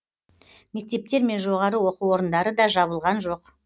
мектептер мен жоғары оқу орындары да жабылған жоқ